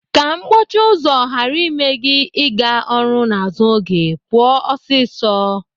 Ka mkpọchi ụzọ ghara ime gị ịga ọrụ n'azụ oge, pụọ ọsịsọ.